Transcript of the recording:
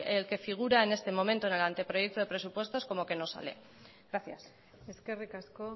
el que figura en este momento en el anteproyecto de presupuestos como que no sale gracias eskerrik asko